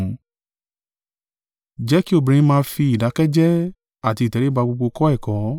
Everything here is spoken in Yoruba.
Jẹ́ kí obìnrin máa fi ìdákẹ́ jẹ́ẹ́ àti ìtẹríba gbogbo kọ́ ẹ̀kọ́.